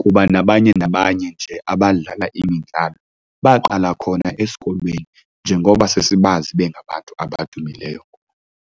Kuba nabanye nabanye nje abadlala imidlalo baqala khona esikolweni njengoba sesibazi bengabantu abadumileyo.